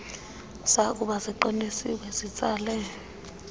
zakuba ziqinisiwe zitsale